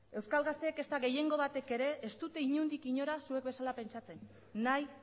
euskal gazteek ezta gehiengo batek ere ez dute inondik inora zuek bezala pentsatzen nahi